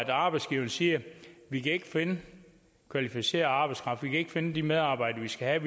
arbejdsgiverne siger vi kan ikke finde kvalificeret arbejdskraft vi kan ikke finde de medarbejdere vi skal have